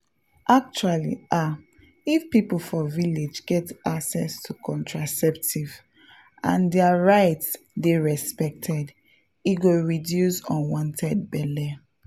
actually ah if people for village get access to contraceptives and their rights dey respected e go really reduce unwanted belle.